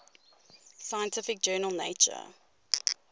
scientific journal nature